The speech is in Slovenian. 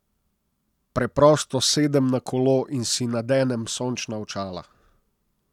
Preprosto sedem na kolo in si nadenem sončna očala ...